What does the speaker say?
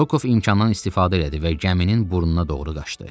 Rokov imkandan istifadə elədi və gəminin burnuna doğru qaçdı.